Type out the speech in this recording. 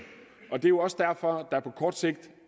det er jo også derfor at der på kort sigt